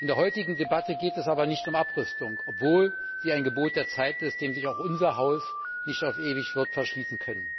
In der heutigen Debatte geht es aber nicht um Abrüstung, obwohl sie ein Gebot der Zeit ist, dem sich auch unser Haus nicht auf ewig wird verschließen können.